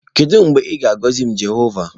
Kedu mgbe ị ga-agọzi m Jehova?